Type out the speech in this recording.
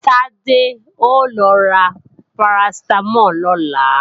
Tádé ó lọ ra Paracetamol lọ́la